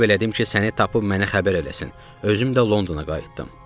Tələb elədim ki, səni tapıb mənə xəbər eləsin, özüm də Londona qayıtdım.